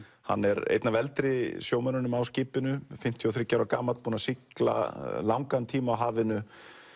hann er einn af eldri sjómönnunum á skipinu fimmtíu og þriggja ára gamall búinn að sigla langan tíma á hafinu